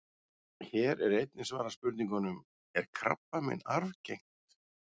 Hér er einnig svarað spurningunum: Er krabbamein arfgengt?